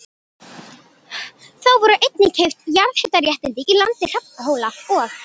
Þá voru einnig keypt jarðhitaréttindi í landi Hrafnhóla og